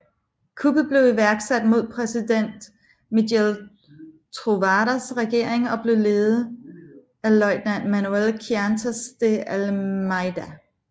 Kuppet blev iværksat mod præsident Miguel Trovoadas regering og blev ledet af løjtnant Manuel Quintas de Almeida